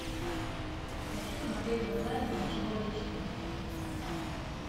хочу смотреть онлайн ничего личного